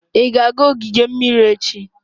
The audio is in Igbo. Ị ga-aga ogige mmiri echi?